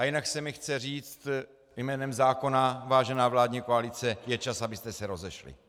A jinak se mi chce říct: jménem zákona, vážená vládní koalice, je čas, abyste se rozešli.